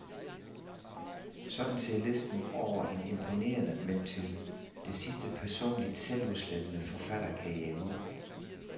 Sådan ser listen over en imponerende, men til det sidste personligt selvudslettende forfatterkarriere ud.